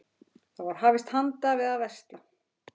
Þá var hafist handa við að versla.